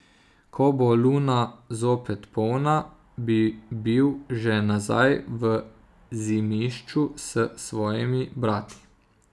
Ko bo luna zopet polna, bi bil že nazaj v Zimišču s svojimi brati.